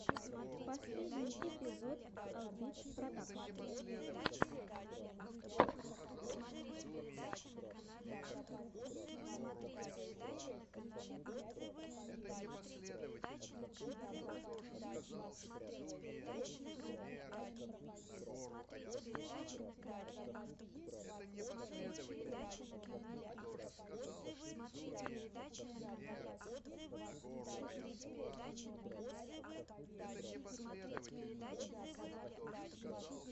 последний эпизод албит продакшн